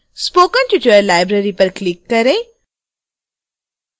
spoken tutorial library पर click करें